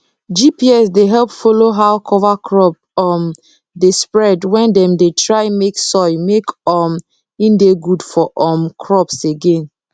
gps dey help follow how cover crop um dey spread when dem dey try make soil make um e dey good for um crops again